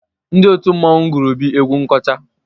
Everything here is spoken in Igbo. Ndị òtù mmọnwụ gụụrụ Obi egwu nkọcha.